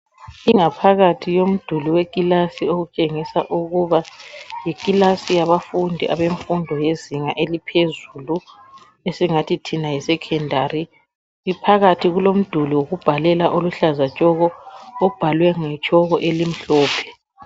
Ingaphakathi yomduli wekilasi okutshengisa ukuba yikilasi yabafundi abezinga eliphezulu esingathi thina yisekhendari. Phakathi kulomduli wokubhalela oluhlaza tshoko obhalwe ngetshoko elimhlophe.